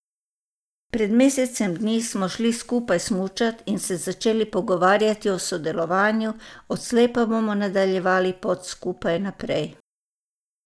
Pred mesecem dni smo šli skupaj smučat in se začeli pogovarjati o sodelovanju, odslej pa bomo nadaljevali pot skupaj naprej.